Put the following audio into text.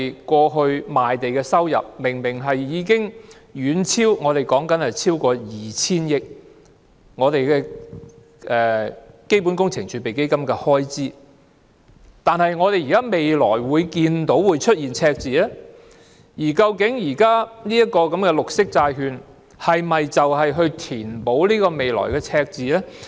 過去賣地的收入明明已經遠超開支達 2,000 億元，為何基本工程儲備基金的開支未來竟會出現赤字，而當前的綠色債券又是否用以填補這個未來的赤字呢？